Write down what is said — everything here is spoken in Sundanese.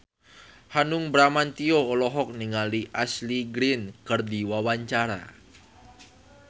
Hanung Bramantyo olohok ningali Ashley Greene keur diwawancara